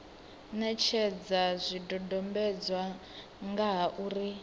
netshedza zwidodombedzwa nga ha uri